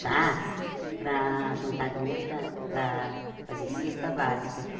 Chás para juntar dinheiro para para para fazer cesta básica.